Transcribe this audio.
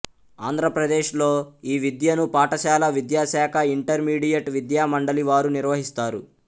ఆంధ్ర ప్రదేశ్ లో ఈ విద్యను పాఠశాల విద్యాశాఖ ఇంటర్మీడియట్ విద్యా మండలి వారు నిర్వహిస్తారు